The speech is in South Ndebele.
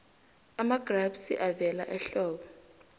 amagrapsi avela ehlobo